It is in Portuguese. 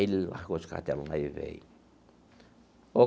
Ele largou os caderno lá e veio.